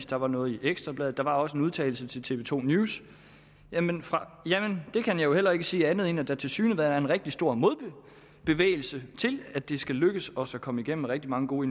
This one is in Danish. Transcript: der var noget i ekstra bladet og der var også en udtalelse til tv to news jamen jeg kan jo heller ikke sige andet end at der tilsyneladende er en rigtig stor modbevægelse til at det skal lykkes os at komme igennem rigtig mange gode